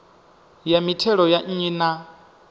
ya mithelo ya nnyi na